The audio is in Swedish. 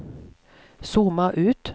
zooma ut